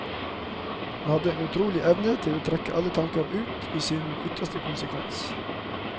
Han hadde en utrolig evne til å trekke alle tanker ut i sin ytterste konsekvens.